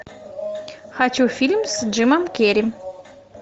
хочу фильм с джимом керри